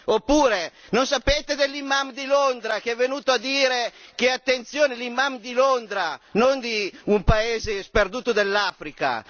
Oppure, non sapete dell'imam di Londra che è venuto a dire attenzione l'imam di Londra, non di un paese sperduto dell'Africa!